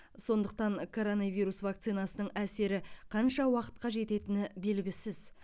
сондықтан коронавирус вакцинасының әсері қанша уақытқа жететіні белгісіз